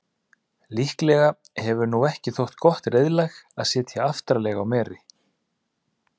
líklega hefur ekki þótt gott reiðlag að sitja aftarlega á meri